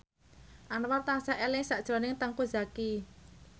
Anwar tansah eling sakjroning Teuku Zacky